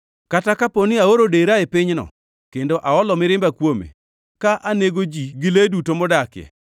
“Kata kapo ni aoro dera e pinyno kendo aolo mirimba kuome, ka anego ji gi le duto modakie,